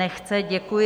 Nechce, děkuji.